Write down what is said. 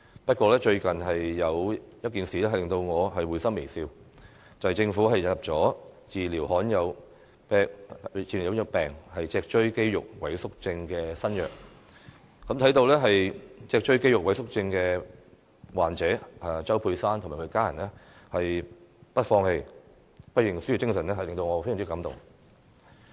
不過，最近有一件事令我會心微笑，就是政府引入治療罕有病脊髓肌肉萎縮症的新藥，看到脊髓肌肉萎縮症患者周佩珊及其家人不放棄、不認輸的精神，我相當感動。